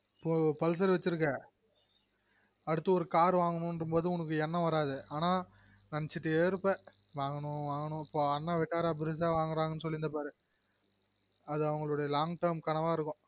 ஒ pulsar வச்சுருக்க அடுத்து ஒரு car வாங்கனும் போதும்ற போது எண்ணம் வராது ஆனா நெனைச்சுட்டே இருப்பா வாங்கனும் வாங்கனும் இப்ப அண்ண car வாங்குறாரு சொல்லிருந்த பாரு அது அவங்களொட long term கனவா இருக்கும்